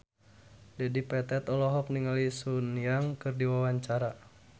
Dedi Petet olohok ningali Sun Yang keur diwawancara